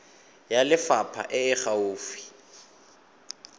ya lefapha e e gaufi